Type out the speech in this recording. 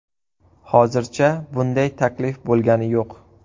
Hozircha bunday taklif bo‘lgani yo‘q.